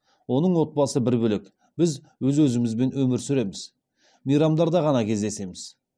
оның отбасы бір бөлек біз өз өзімізбен өмір сүреміз мейрамдарда ғана кездесеміз